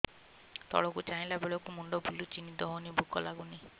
ତଳକୁ ଚାହିଁଲା ବେଳକୁ ମୁଣ୍ଡ ବୁଲୁଚି ନିଦ ହଉନି ଭୁକ ଲାଗୁନି